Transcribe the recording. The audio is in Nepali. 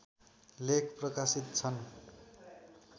लेख प्रकाशित छन्